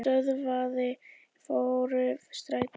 Stöðvaði för strætó